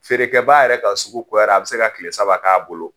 Feerekɛbaa yɛrɛ ka sugu goyara a bi se ka kile saba k'a bolo.